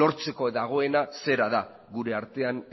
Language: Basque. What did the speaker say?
lortzeko dagoena zera da gure artean